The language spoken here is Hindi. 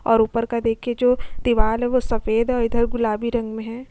ऊपर का देखे जो दीवाल है वो सफेद है और इधर गुलाबी रंग मे है।